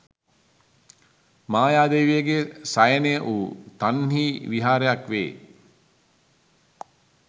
මායාදේවියගේ සයනය වූ තන්හි විහාරයක් වේ.